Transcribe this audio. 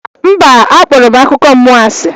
Mba, akpọrọ m akụkọ mmụọ asị.